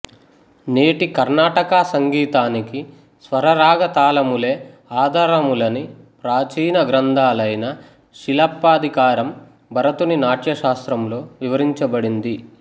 నేటి కర్ణాటక సంగీతానికి స్వరరాగతాళములే ఆధారములని ప్రాచీన గ్రంథాలైన శిలప్పాధికారం భరతుని నాట్యశాస్త్రంలో వివరించబడింది